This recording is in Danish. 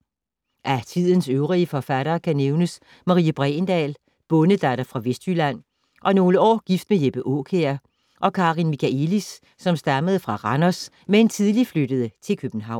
Af tidens øvrige forfattere kan nævnes Marie Bregendahl, bondedatter fra Vestjylland og nogle år gift med Jeppe Aakjær, og Karin Michaëlis, som stammede fra Randers, men tidligt flyttede til København.